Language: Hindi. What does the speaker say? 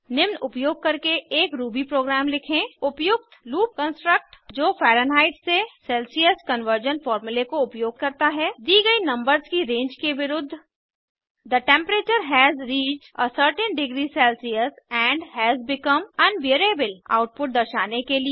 निम्न उपयोग करके एक रूबी प्रोग्राम लिखें उपयुक्त लूप कन्स्ट्रक्ट जो फैरन्हाइट से सेल्सियस कन्वर्जन फॉर्मूले को उपयोग करता है दी गयी नंबर्स की रेंज के विरुद्ध the temperature has reached a certain degree Celsius and has become unbearable output दर्शाने के लिए